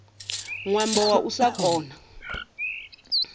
ṅwambo wa u sa kona